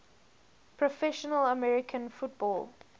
professional american football